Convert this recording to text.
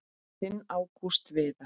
Þinn Ágúst Viðar.